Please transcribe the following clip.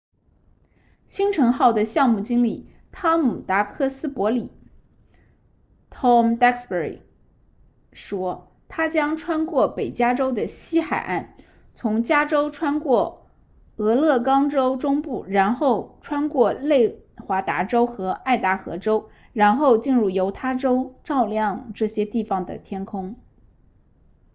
星尘号的项目经理汤姆达克斯伯里 tom duxbury 说它将穿过北加州西海岸从加州穿过俄勒冈州中部然后穿过内华达州和爱达荷州然后进入犹他州照亮这些地方的天空